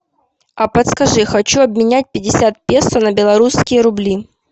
а подскажи хочу обменять пятьдесят песо на белорусские рубли